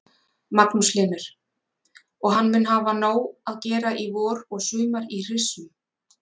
Magnús Hlynur: Og hann mun hafa nóg að gera í vor og sumar í hryssum?